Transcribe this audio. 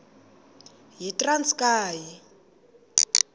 yitranskayi